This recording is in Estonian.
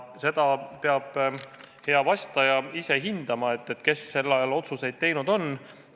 Seda peab hea vastaja ise hindama, kes sel ajal otsuseid teinud on.